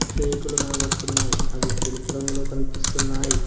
రేకులు కనబడుతున్నాయి అవి తెలుపు రంగులో కనిపిస్తున్నాయి.